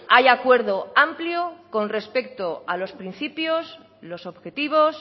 hay acuerdo amplio con respecto a los principios los objetivos